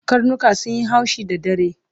Karnika sunyi haushi da dare